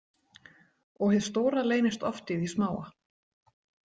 Og hið stóra leynist oft í því smáa